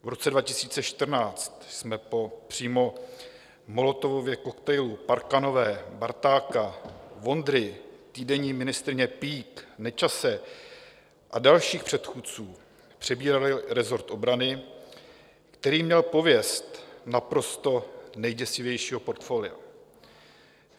V roce 2014 jsme po přímo Molotovově koktejlu Parkanové, Bartáka, Vondry, týdenní ministryně Peake, Nečase a dalších předchůdců přebírali resort obrany, který měl pověst naprosto nejděsivějšího portfolia.